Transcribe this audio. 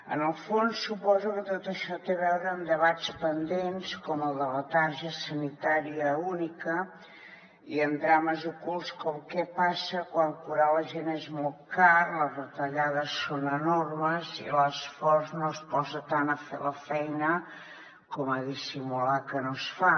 en el fons suposo que tot això té a veure amb debats pendents com el de la targeta sanitària única i amb drames ocults com què passa quan curar la gent és molt car les retallades són enormes i l’esforç no es posa tant a fer la feina com a dissimular que no es fa